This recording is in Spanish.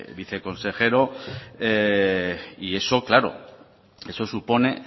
viceconsejero y eso claro eso supone